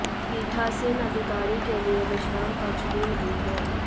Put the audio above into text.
पीठासीन अधिकारी के लिए विश्राम कक्ष भी नहीं है